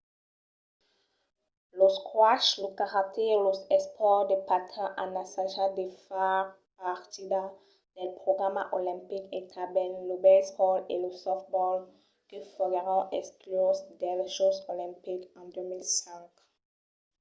lo squash lo karate e los espòrts de patins an assajat de far partida del programa olimpic e tanben lo baseball e lo softball que foguèron excluses dels jòcs olimpics en 2005